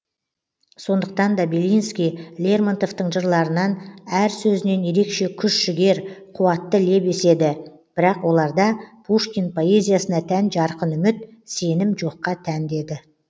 сондықтан да белинский лермонтовтың жырларынан әр сөзінен ерекше күш жігер қуатты леп еседі бірақ оларда пушкин поэзиясына тән жарқын үміт сенім жоққа тән деді